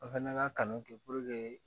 An fɛnɛ ka kanu kɛ